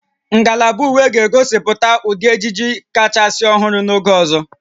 Ngalaba uwe ga-egosipụta ụdị ejiji kachasị ọhụrụ n'oge ọzọ